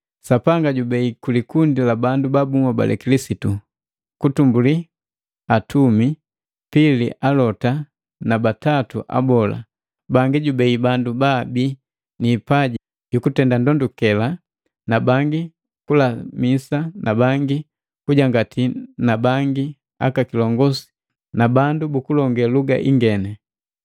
Sapanga jubei kulikundi la bandu babuhobale Kilisitu, kwanza atumi, pili alota na batatu abola, bangi jubei bandu baabii niipaji yukutenda ndondukela, na bangi kulamisa na bangi kujangati na bangi aka kilongosi na bandu bukulonge luga ingeni.